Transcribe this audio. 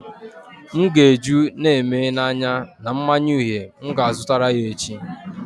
M ga-eju Neme na anya na mmanya uhie m ga azutara ya echi